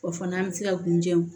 O fana an bɛ se ka kun jɛnw